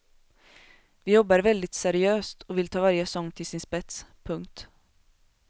Vi jobbar väldigt seriöst och vill ta varje sång till sin spets. punkt